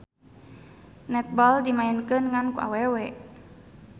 Netball dimaenkeun ngan ku awewe.